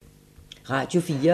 Radio 4